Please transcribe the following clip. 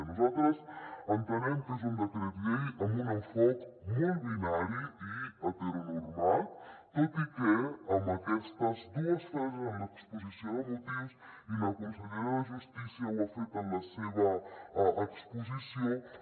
nosaltres entenem que és un decret llei amb un enfocament molt binari i heteronormal tot i que amb aquestes dues frases en l’exposició de motius i la consellera de justícia ho ha fet en la seva exposició